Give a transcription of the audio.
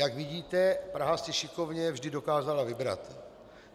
Jak vidíte, Praha si šikovně vždy dokázala vybrat.